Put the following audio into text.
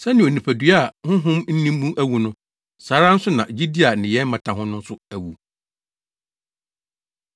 Sɛnea onipadua a honhom nni mu awu no, saa ara nso na gyidi a nneyɛe mmata ho no nso awu.